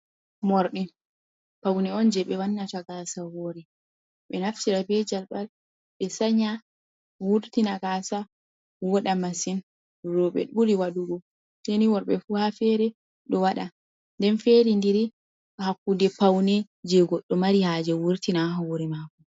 Moorɗi, pawne on jey ɓe wannata gaasa, ɓe naftira be jalɓal, ɓe sanya, ɓe wurtina gaasa vooɗa masin, rooɓe on ɓuri waɗugo, sey ni worɓe fuu haa feere ɗo waɗa, nden feeri ndiri haa kuuɗe pawne jey goɗɗo mari haaje wurtina haa hoore maako.